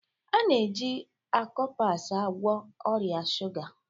A na-eji Akopas agwọ ọrịa shuga